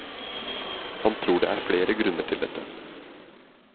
Han tror det er flere grunner til dette.